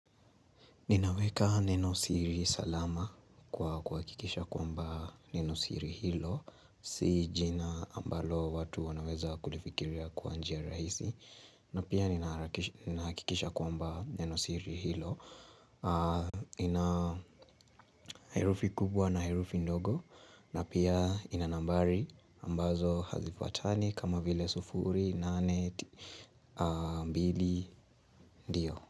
Ninaweka neno siri salama kwa kuhakikisha kwamba neno siri hilo, si jina ambalo watu wanaweza kulifikiria kwa njia rahisi, na pia ninakikisha kwamba neno siri hilo, ina herufi kubwa na herufi ndogo, na pia ina nambari ambazo hazifuatani kama vile sufuri, nane, mbili, ndio.